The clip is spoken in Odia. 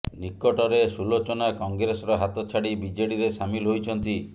ନିକଟରେ ସୁଲୋଚନା କଂଗ୍ରେସର ହାତ ଛାଡ଼ି ବିଜେଡିରେ ସାମିଲ ହୋଇଛନ୍ତି